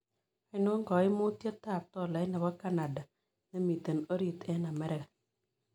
Ainon kamanutietap tolait nebo canada nemiten orit eng' amerika